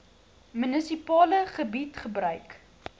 munisipale gebied gebruik